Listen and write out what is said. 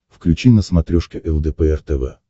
включи на смотрешке лдпр тв